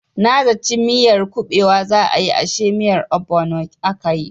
Na zaci miyar kubewa za a yi ashe miyar obono akayi.